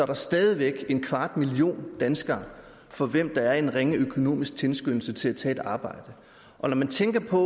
er der stadig væk en kvart million danskere for hvem der er en ringe økonomisk tilskyndelse til at tage et arbejde når man tænker på